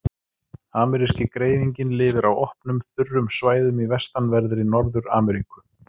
Ameríski greifinginn lifir á opnum, þurrum svæðum í vestanverðri Norður-Ameríku.